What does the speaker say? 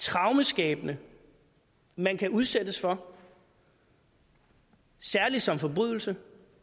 traumeskabende man kan udsættes for særlig som forbrydelse